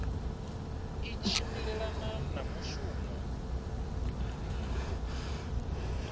i tshi tshimbilelana na mushumo